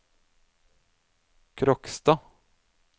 Kråkstad